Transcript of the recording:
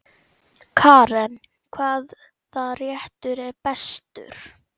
Karen: Hvaða réttur er bestur?